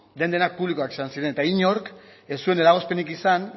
den denak publikoak izan ziren eta inork ez zuen eragozpenik izan